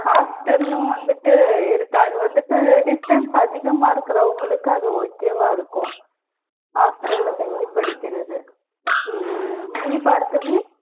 hostel உம் வந்துட்டு இருக்கு. அது வந்துட்டு distance அதிகமா இருக்குறவங்களுக்கு அது okay வா இருக்கும் hostel ல தங்கி படிக்கிறது. உம் நீ பார்கவி?